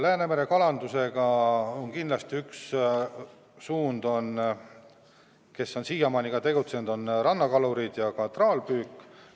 Läänemere kalanduses on kindlasti üks suund, nagu on siiani ikka olnud, rannakalurid ja ka traalpüük.